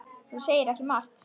Þú segir ekki margt.